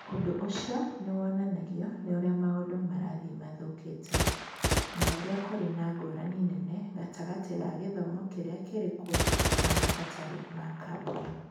Ũndũ ũcio nĩ wonanagio nĩ ũrĩa maũndũ marathiĩ mathũkĩte, na ũrĩa kũrĩ na ngũrani nene gatagatĩ ka gĩthomo kĩrĩa kĩrĩ kuo na mabataro ma kambuni.